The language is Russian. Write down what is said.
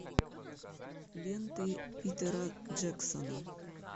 ленты питера джексона